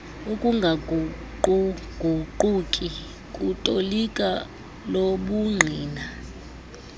ukungaguquguquki kutoliko lobungqina